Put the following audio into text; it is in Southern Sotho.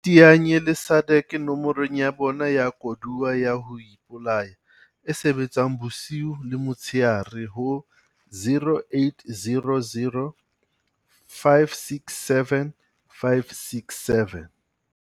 Iteanye le SADAG nomorong ya bona ya koduwa ya ho ipolaya, e sebetsang bosiu le motshehare ho 0800 567 567.